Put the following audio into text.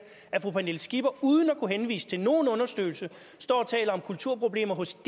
at fru pernille skipper uden at kunne henvise til nogen undersøgelser står og taler om kulturproblemer hos